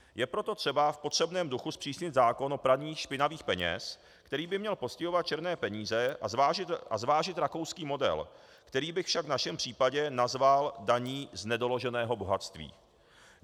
Je proto třeba v potřebném duchu zpřísnit zákon o praní špinavých peněz, který by měl postihovat černé peníze, a zvážit rakouský model, který bych však v našem případě nazval daní z nedoloženého bohatství.